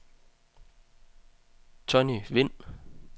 Tonny Vind